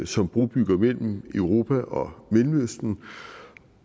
som brobygger mellem europa og mellemøsten